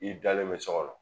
I dalen bɛ sɔ kɔnɔ